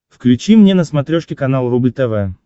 включи мне на смотрешке канал рубль тв